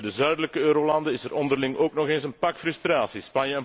Bij de zuidelijke eurolanden is er onderling ook nog eens een pak frustraties.